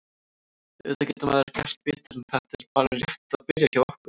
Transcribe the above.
Auðvitað getur maður gert betur en þetta er bara rétt að byrja hjá okkur.